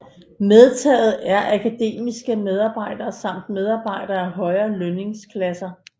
Medtaget er akademiske medarbejdere samt medarbejdere af højere lønningsklasser